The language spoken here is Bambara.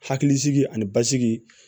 Hakili sigi ani basigi